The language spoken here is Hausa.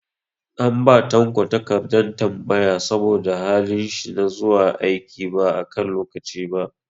An ba Tanko takardar tambaya saboda halin shi na zuwa aiki ba a kan lokaci ba.